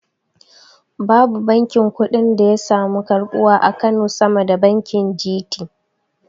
Babu bankin kuɗin da yasamu karbuwa a kano sama da bankin G.T